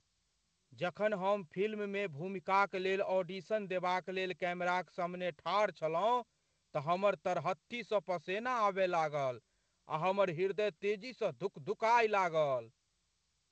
जखन हम फिल्ममे भूमिकाक लेल ऑडिशन देबाक लेल कैमराक सामने ठाड़ छलहुँ तऽ हमर तरहत्थी स पसेना आबय लागल आ हमर ह्रदय तेजीसँ धुकधुकाय लागल।